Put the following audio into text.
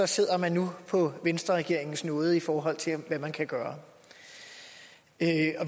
sidder man nu på venstreregeringens nåde i forhold til hvad man kan gøre